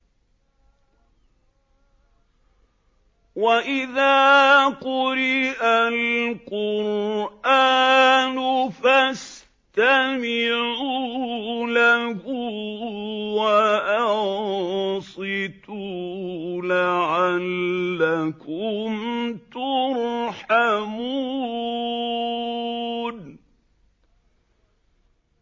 وَإِذَا قُرِئَ الْقُرْآنُ فَاسْتَمِعُوا لَهُ وَأَنصِتُوا لَعَلَّكُمْ تُرْحَمُونَ